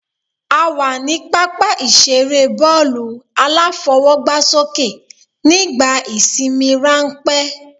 A wà ní pápá ìseré bọ́ọ̀lù-aláfọwọ́gbásókè nígbà ìsinmi ránpẹ́